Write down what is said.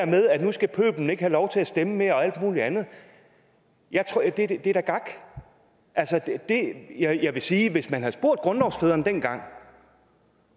med at nu skal pøblen ikke have lov til at stemme her og alt muligt andet det er da gak jeg vil sige at hvis man havde spurgt grundlovsfædrene dengang